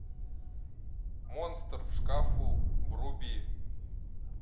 монстр в шкафу вруби